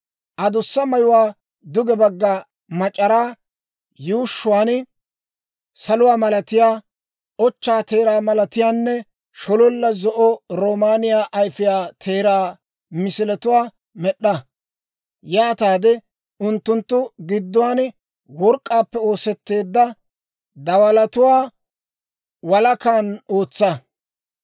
Adussa mayuwaa duge bagga mac'araa yuushshuwaan saluwaa malatiyaa, ochchaa teeraa malatiyaanne shololla zo'o roomaaniyaa ayfiyaa teeraa misiletuwaa med'd'a. Yaataade unttunttu gidduwaan work'k'aappe oosetteedda dawalatuwaa walakan ootsa.